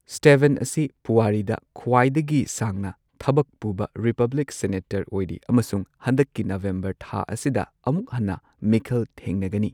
Steven ꯑꯁꯤ ꯄꯨꯋꯥꯔꯤꯗ ꯈ꯭ꯋꯥꯏꯗꯒꯤ ꯁꯥꯡꯅ ꯊꯕꯛ ꯄꯨꯕ ꯔꯤꯄꯕ꯭ꯂꯤꯛ ꯁꯦꯅꯦꯇꯔ ꯑꯣꯏꯔꯤ ꯑꯃꯁꯨꯡ ꯍꯟꯗꯛꯀꯤ ꯅꯕꯦꯝꯕꯔ ꯊꯥ ꯑꯁꯤꯗ ꯑꯃꯨꯛ ꯍꯟꯅ ꯃꯤꯈꯜ ꯊꯦꯡꯅꯒꯅꯤ꯫